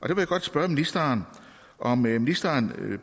jeg godt spørge om ministeren